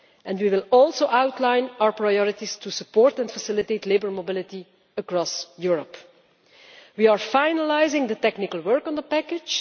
We will also outline our priorities to support and facilitate labour mobility across Europe. We are finalising the technical work on the package.